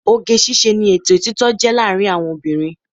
Oge ṣíṣe ni ètè títọ́ jẹ́ láàárín àwọn obìnrin